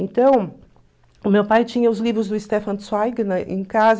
Então, o meu pai tinha os livros do Stefan Zweig, né, em casa.